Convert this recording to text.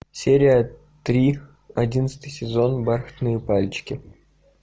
серия три одиннадцатый сезон бархатные пальчики